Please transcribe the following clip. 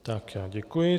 Tak já děkuji.